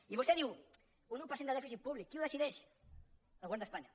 i vostè diu un un per cent de dèficit públic qui ho decideix el govern d’espanya